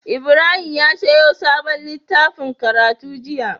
Ibrahim ya siyo sabon litaffin karatu jiya